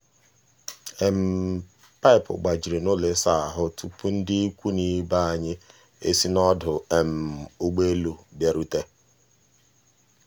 paipu gbajiri n'ụlọ ịsa ahụ tụpụ ndị ikwu na ibe anyị e si n'ọdụ um ụgbọelu bịarute.